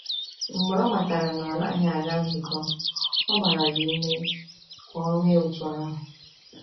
Mgbe o matara na ọ naghị aga nzukọ, o gbara ya ume ka o mee otú ahụ.